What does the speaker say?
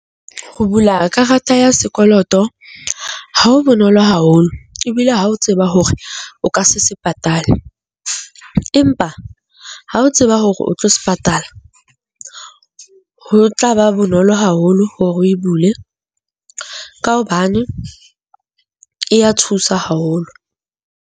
Ho bula karata ya sekoloto ha o bonolo haholo ebile ha o tseba hore o ka se se patale, empa ha o tseba hore o tlo se patala, ho tlaba bonolo haholo hore o e bule ka hobane e a thusa haholo.